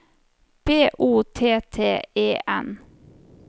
B O T T E N